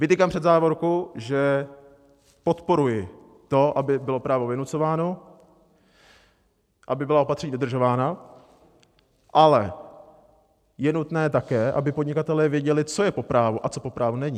Vytýkám před závorku, že podporuji to, aby bylo právo vynucováno, aby byla opatření dodržována, ale je nutné také, aby podnikatelé věděli, co je po právu a co po právu není.